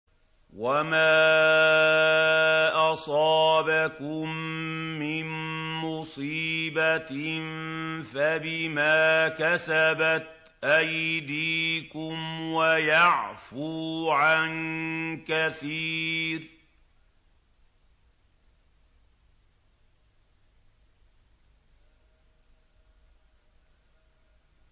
وَمَا أَصَابَكُم مِّن مُّصِيبَةٍ فَبِمَا كَسَبَتْ أَيْدِيكُمْ وَيَعْفُو عَن كَثِيرٍ